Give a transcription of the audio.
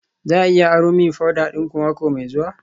Za a iya aro min powder dinku mako mai zuwa?